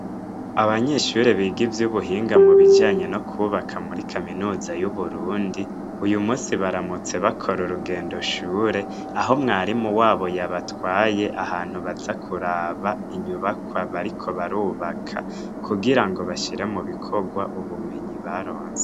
Abanyeshure big' ivyubuhinga mubijanye n' ukubaka muri kaminuza yu Burundi, uyumunsi baramutse bakor' urugendo shure, aho mwarimu wabo yabatway' ahantu baza kuraba inyubakwa bariko barubaka, kugira bashire mubikigw' ubumenyi baronse.